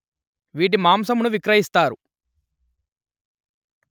వీటి మాంసమును విక్రయిస్తారు